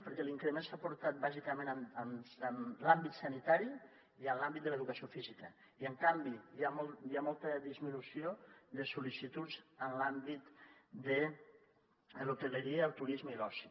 perquè l’increment s’ha aportat bàsicament en l’àmbit sanitari i en l’àmbit de l’educació física i en canvi hi ha molta disminució de sol·licituds en l’àmbit de l’hostaleria el turisme i l’oci